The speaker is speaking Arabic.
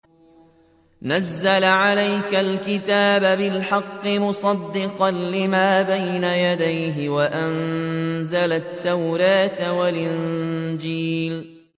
نَزَّلَ عَلَيْكَ الْكِتَابَ بِالْحَقِّ مُصَدِّقًا لِّمَا بَيْنَ يَدَيْهِ وَأَنزَلَ التَّوْرَاةَ وَالْإِنجِيلَ